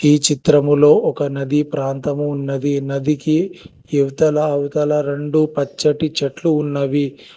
ఈ చిత్రములో ఒక నది ప్రాంతము ఉన్నది నదికి ఇవతల అవతల రెండు పచ్చటి చెట్లు ఉన్నవి.